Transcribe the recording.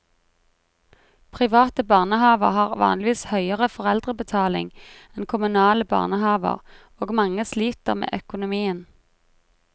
Private barnehaver har vanligvis høyere foreldrebetaling enn kommunale barnehaver, og mange sliter med økonomien.